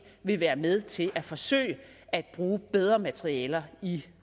vil være med til at forsøge at bruge bedre materialer i